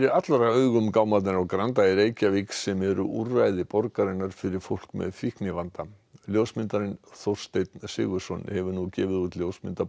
allra augum gámarnir á Granda í Reykjavík sem eru úrræði borgarinnar fyrir fólk með fíknivanda ljósmyndarinn Þórsteinn Sigurðsson hefur nú gefið út ljósmyndabók